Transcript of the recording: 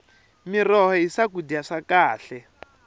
miroho hi swakudya swa khale